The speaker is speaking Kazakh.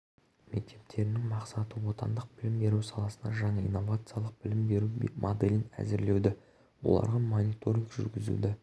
мектептерінің мақсаты отандық білім беру саласына жаңа инновациялық білім беру моделін әзірлеуді оларға мониторинг жүргізуді